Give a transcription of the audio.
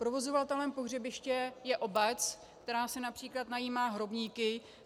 Provozovatelem pohřebiště je obec, která si například najímá hrobníky.